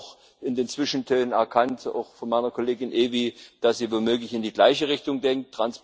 Aber ich habe auch in den Zwischentönen erkannt, auch von meiner Kollegin Evi, dass sie womöglich in die gleiche Richtung denkt.